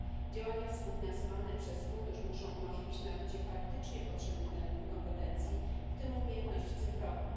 Działania współfinansowane przez Fundusz muszą umożliwić nabycie faktycznie potrzebnych na rynku kompetencji, w tym umiejętności cyfrowych.